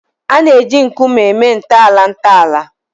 A na-eji nkume eme ntọala ntọala